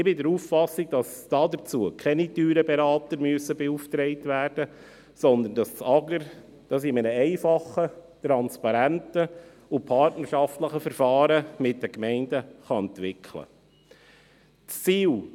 Ich bin der Auffassung, dass dazu keine teuren Berater beauftragt werden müssen, sondern dass das Amt für Gemeinden und Raumordnung (AGR) dies in einem einfachen, transparenten und partnerschaftlichen Verfahren mit den Gemeinden entwickeln kann.